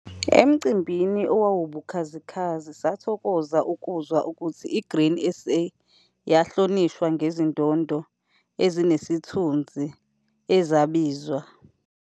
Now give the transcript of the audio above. Emcimbini owawubukhazikhazi sathokoza ukuzwa ukuthi i-Grain SA yahloniswa ngezindondo ezinesithunzi, ezibizwa.